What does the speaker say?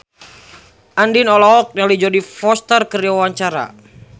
Andien olohok ningali Jodie Foster keur diwawancara